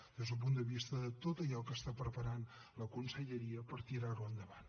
des d’un punt de vista de tot allò que està preparant la conselleria per tirar ho endavant